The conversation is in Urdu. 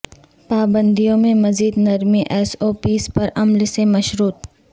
پابندیوں میں مزید نرمی ایس او پیز پر عمل سے مشروط